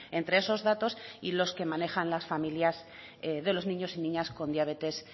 entre esos datos y los que manejan las familias de los niños y niñas con diabetes